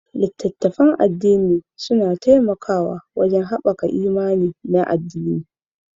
Littattafan addini suna taimakawa wajen haɓaka imani na addini